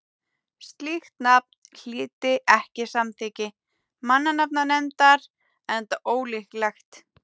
slíkt nafn hlyti ekki samþykki mannanafnanefndar enda ólöglegt